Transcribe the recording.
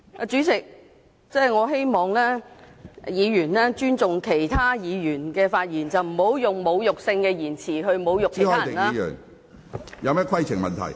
主席，我希望議員尊重其他議員的發言，不要用侮辱性的言詞來侮辱別人。